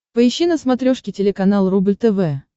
поищи на смотрешке телеканал рубль тв